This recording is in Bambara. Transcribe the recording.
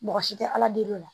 Mɔgɔ si tɛ ala deli o la